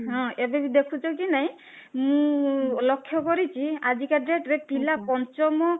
ହଁ, ଏବେ ବି ଦେଖୁଛ କି ନାଇଁ ମୁଁ ଲକ୍ଷ୍ୟ କରିଛି ଆଜି କା date ରେ ପିଲା ପଞ୍ଚମ